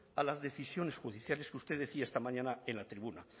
a las decisiones judiciales que usted decía esta mañana en la tribuna